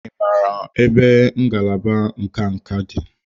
Ị maara ebe ngalaba nka nka dị?